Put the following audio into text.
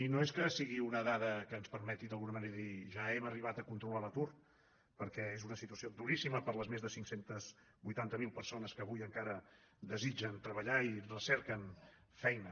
i no és que sigui una dada que ens permeti d’alguna manera dir ja hem arribat a controlar l’atur perquè és una situació duríssima per a les més cinc cents i vuitanta miler persones que avui encara desitgen treballar i recerquen feina